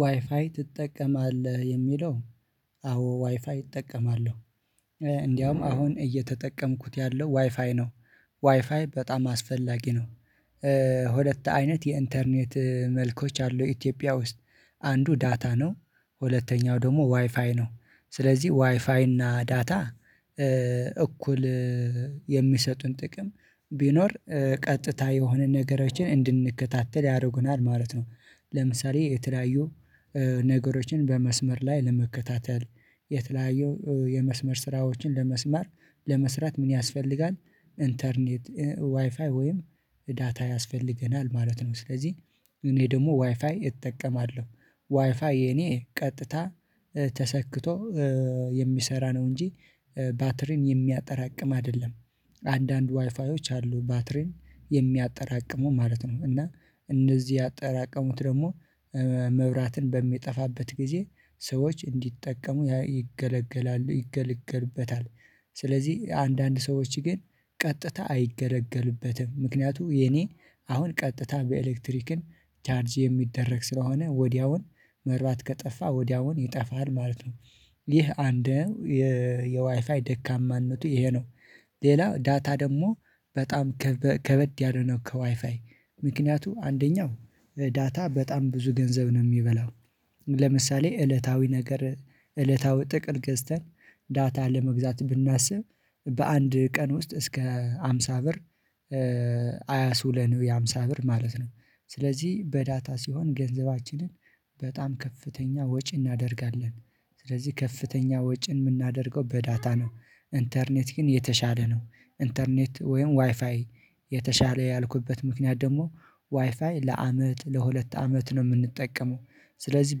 ዋይፋይ ትጠቀማለህ የሚለው? አዎ ዋይፋይ እጠቀማለሁ። እንደውም አሁን እየተጠቀምኩት ያለሁት ዋይፋይ ነው። ዋይፋይ በጣም አስፈላጊ ነው። ሁለት አይነት የኢንተርኔት መልኮች አሉ ኢትዮጵያ ውስጥ። አንዱ ዳታ ነው ሁለተኛው ደግሞ ዋይፋይ ነው። ስለዚህ ዋይፋይ እና ዳታ እኩል የሚሰጡን ጥቅም ቢኖር ቀጥታ የሆነ ነገሮችን እንድንከታተል ያደርጉናል ማለት ነው። ለምሳሌ የተለያዩ ነገሮችን በመስመር ላይ ለመከታተል የተለያዩ የመስመር ስራዎችን በመስማት ለመስራት ምን ያስፈልጋል? ኢንተርኔት ዋይፋይ ወይም ዳታ ያስፈልገናል ማለት ነው። ስለዚህ እኔ ደግሞ ዋይፋይ እጠቀማለሁ ዋይፋይ የኔ ቀጥታ ተሰክቶ የሚሰራ ነው። እንጂ ባትሪን የሚያጠራቅም አይደለም። አንዳንድ ዋይፋዮች አሉ ባትሪን የሚያጠራቅሙ ማለት ነው። እና እነዚህ ያጠራቀሙትን ደግሞ መብራትን በሚጠፋበት ጊዜ ሰዎች እንዲጠቀሙ ያገለግላሉ ይገለገሉበታል። ስለዚህ አንዳንድ ሰዎች ግን ቀጥታ አይገለገሉበትም ምክንያቱም የኔ አሁን ቀጥታ በኤሌክትሪክ ቻርጅ የሚደረግ ስለሆነ ወዲያውኑ መብራት ከጠፋ ወዲያውኑ ይጠፋል ማለት ነው። ይህ አንድ የዋይፋይ ደካማነቱ ይሄ ነው። ሌላው ዳታ ደግሞ በጣም ከበድ ያለው ነው ከዋይፋይ ምክንያቱም አንደኛው ዳታ በጣም ብዙ ገንዘብ ነው የሚበላው። ለምሳሌ እለታዊ ነገር እለታዊ ጥቅል ገዝተን ዳታ ለመግዛት ብናስብ በአንድ ቀን ውስጥ እስከ ሃምሳ ብር አያውለንም የሃምሳ ብር ማለት ነው። ስለዚህ በዳታ ሲሆን ገንዘባችንን በጣም ከፍተኛ ወጪ እናደርጋለን። ስለዚህ ከፍተኛ ወጪን የምናደርገው በዳታ ነው። ኢንተርኔት ግን የተሻለ ነው ኢንተርኔት ወይም ዋይፋይ የተሻለ ያልኩበት ምክንያት ደግሞ ዋይፋይ ለአመት ለሁለት አመት ነው የምንጠቀመው። ስለዚህ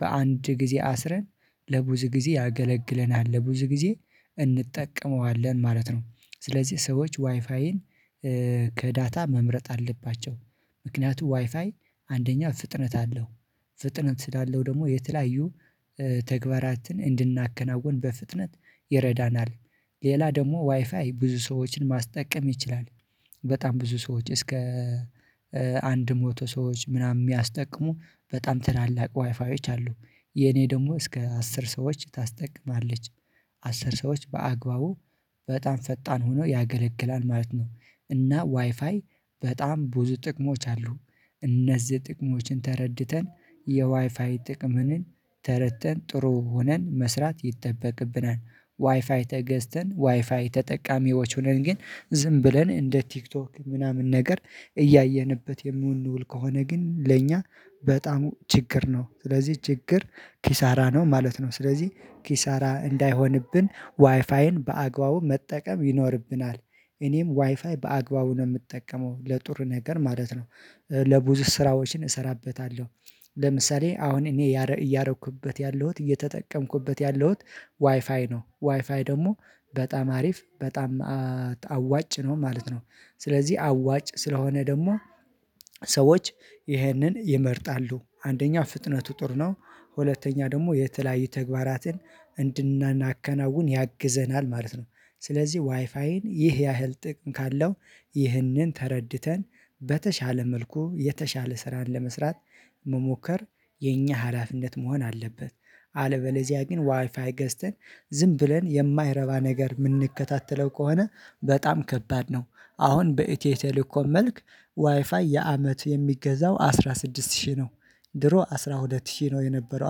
በአንድ ጊዜ አስረን ለብዙ ጊዜ ያገለግለናል ለብዙ ጊዜ እንጠቀመዋለን ማለት ነው። ስለዚህ ሰዎች ዋይፋይን ከዳታ መምረጥ አለባቸው። ምክንያቱም ዋይፋይ አንደኛ ፍጥነት አለው ፍጥነት ስላለው ደግሞ የተለያዩ ተግባራትን እንድናከናውን በፍጥነት ይረዳናል። ሌላ ደግሞ ዋይፋይ ብዙ ሰዎችን ማስጠቀም ይችላል። በጣም ብዙ ሰዎች እስከ አንድ ሞቶ ሰዎች ምናምን የሚያስጠቅሙ በጣም ትላልቅ ዋይፋዮች አሉ። የኔ ደግሞ እስከ አስር ሰዎች ታስጠቅማለች አስር ሰዎች በአግባቡ በጣም ፈጣን ሆኖ ያገለግላል ማለት ነው። እና ዋይፋይ በጣም ብዙ ጥቅሞች አሉት። እነዚህ ጥቅሞችን ተረድተን የዋይፋይ ጥቅምንም ተረድተን ጥሩ ሆነን መስራት ይጠበቅብናል። ዋይፋይ ተገዝተን ዋይፋይ ተጠቃሚዎች ሆነን ግን ዝም ብለን እንደ ቲክቶክ ምናምን ነገር እያየንበት የምውል ከሆነ ግን ለእኛ በጣም ችግር ነው ስለዚህ ችግር ኪሳራ ነው ማለት ነው ስለዚህ ኪሳራ እንዳይሆንብን ዋይፋይን በአግባቡ መጠቀም ይኖርብናል። እኔም ዋይፋይ በአግባቡ ነው የምጠቀመው ለጥሩ ነገር ማለት ነው። ብዙ ስራዎችን እሰራበታለሁ። ለምሳሌ አሁን እኔ እያደረኩበት ያለሁት እየተጠቀምኩበት ያለሁት ዋይፋይ ነው ዋይፋይ ደግሞ በጣም አሪፍ በጣም አዋጭ ነው ማለት ነው። ስለዚህ አዋጭ ስለሆነ ደግሞ ሰዎች ይህንን ይመርጣሉ አንደኛ ፍጥነቱ ጥሩ ነው። ሁለተኛ ደግሞ የተለያዩ ተግባራትን እንድናከናውን ያግዘናል ማለት ነው። ስለዚህ ዋይፋይን ይህ ያህል ጥቅም ካለው ይህንን ተረድተን በተሻለ መልኩ የተሻለ ስራን ለመስራት መሞከር የኛ ሀላፊነት መሆን አለበት። አለበለዚያ ግን ዋይፋይ ገዝተን ዝም ብለን የማይረባ ነገር የምንከታተል ከሆነ በጣም ከባድ ነው። አሁን በኢትዮ ቴሌኮም መልክ ዋይፋይ የአመት የሚገዛው አስራ ስድስት ሺህ ነው። ድሮ አስራ ሁለት ሺህ ነው የነበረው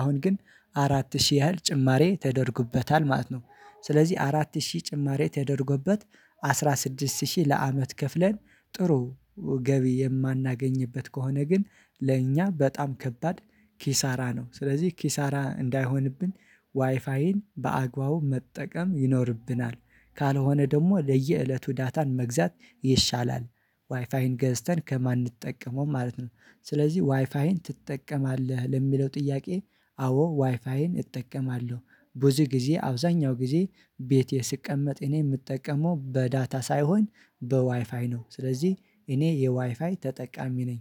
አሁን ግን አራት ሺህ ያህል ጭማሪ ተደርጎበታል ማለት ነው። ስለዚህ አራት ሺህ ጭማሪ ተደርጎበት አስራ ስድስት ሺህ ለአመት ከፍለን ጥሩ ገቢ የማናገኝበት ከሆነ ግን ለእኛ በጣም ከባድ ኪሳራ ነው። ስለዚህ ኪሳራ እንዳይሆንብን ዋይፋይን በአግባቡ መጠቀም ይኖርብናል። ካልሆነ ደግሞ ለየእለቱ ዳታን መግዛት ይሻላል ዋይፋዬን ገዝተን ከማንጠቀመው ማለት ነው። ስለዚህ ዋይፋይን ትጠቀማለህ ለሚለው ጥያቄ? አዎ ዋይፋይን እጠቀማለሁ። ብዙ ጊዜ አብዛኛው ጊዜ ቤቴ ስቀመጥ እኔ የምጠቀመው በዳታ ሳይሆን በዋይፋይ ነው። ስለዚህ እኔ የዋይፋይ ተጠቃሚ ነኝ